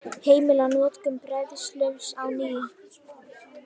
Heimila notkun bræðsluofns á ný